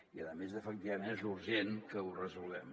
i a més efecti·vament és urgent que ho resolguem